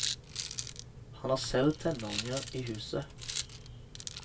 Han har selv tenåringer i huset.